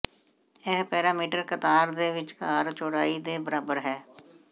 ਇਹ ਪੈਰਾਮੀਟਰ ਕਤਾਰ ਦੇ ਵਿਚਕਾਰ ਚੌੜਾਈ ਦੇ ਬਰਾਬਰ ਹੈ